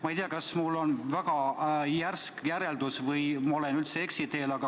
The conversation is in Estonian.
Ma ei tea, kas see on mul väga järsk järeldus või olen ma üldse eksiteel.